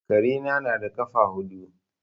Karena na da ƙafa huɗu.